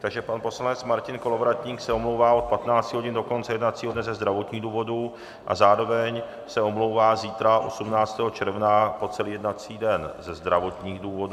Takže pan poslanec Martin Kolovratník se omlouvá od 15 hodin do konce jednacího dne ze zdravotních důvodů a zároveň se omlouvá zítra 18. června po celý jednací den ze zdravotních důvodů.